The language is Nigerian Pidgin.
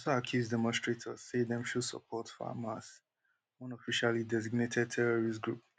dey also accuse demonstrators say dem show support for hamas one officially designated terrorist group